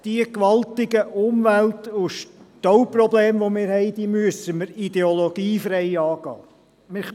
Die gewaltigen Umwelt- und Stauprobleme, die wir haben, die müssen wir ideologiefrei angehen.